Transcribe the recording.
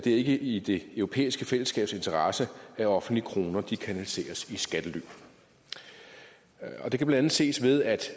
ikke i det europæiske fællesskabs interesse at offentlige kroner kanaliseres i skattely det kan blandt andet ses ved at